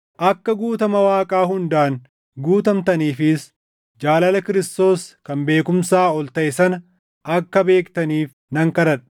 akka guutama Waaqaa hundaan guutamtaniifis jaalala Kiristoos kan beekumsaa ol taʼe sana akka beektaniif nan kadhadha.